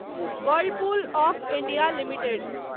Whirlpool of India limited